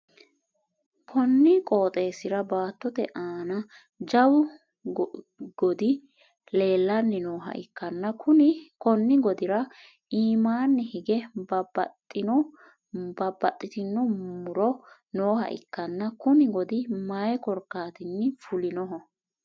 Konni qooxeesira baattote aanna jawu godi leelanni nooha ikanna kunni godira iimaanni hige babbaxitino muro nooha ikanna kunni godi mayi korkaatinni fulinoho?